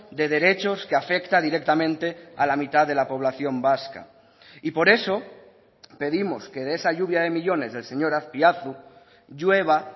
de derechos que afecta directamente a la mitad de la población vasca y por eso pedimos que de esa lluvia de millónes del señor azpiazu llueva